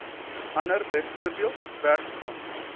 ander bv werfgrond